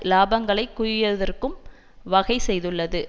இலாபங்களை குவயதற்கும் வகை செய்துள்ளது